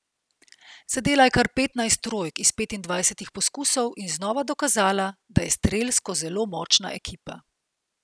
Zadela je kar petnajst trojk iz petindvajsetih poskusov in znova dokazala, da je strelsko zelo močna ekipa.